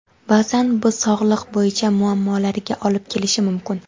Baʼzan bu sog‘liq bo‘yicha muammolariga olib kelishi mumkin.